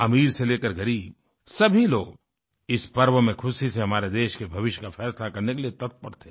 अमीर से लेकर ग़रीब सभी लोग इस पर्व में खुशी से हमारे देश के भविष्य का फैसला करने के लिए तत्पर थे